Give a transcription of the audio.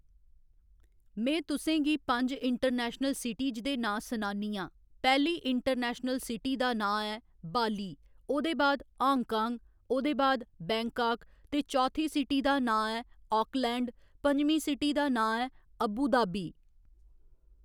में तुसें गी पंज इंटरनेशनल सिटीज दे नांऽ सुनान्नी आं पैहली इंटरनेशनल सिटी दा नांऽ ऐ बाली ओह्दे बाद हांग कांग ओहदे बाद बैंकाक ते चौथी सिटी दा नांऽ ऐ आकलैंड पंजमी सिटी दा नांऽ ऐ अब्बुदाबी